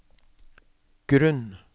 grunn